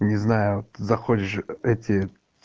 не знаю ты заходишь эти